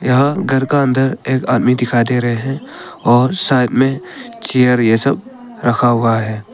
यहां घर का अंदर एक आदमी दिखाई दे रहे हैं और साइड में चेयर यह सब रखा हुआ है।